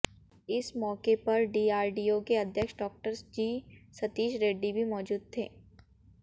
इस मौके पर डीआरडीओ के अध्यक्ष डा जी सतीश रेड्डी भी मौजूद थे